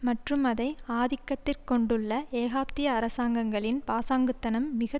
மற்றும் அதை ஆதிக்கத்திற் கொண்டுள்ள ஏகாப்திய அரசாங்கங்களின் பாசாங்குத்தனம் மிக